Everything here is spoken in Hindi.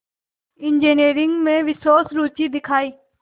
इंजीनियरिंग में विशेष रुचि दिखाई